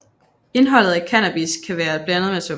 Indeholdet af cannabis kan være blandet med tobak